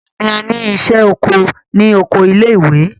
Ọ̀la ni a ní ìṣẹ́ oko ní oko ilé ìwé.